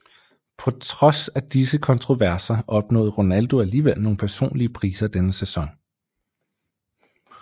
På trods af disse kontroverser opnåede Ronaldo alligevel nogle personlige priser denne sæson